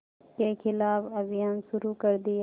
के ख़िलाफ़ अभियान शुरू कर दिया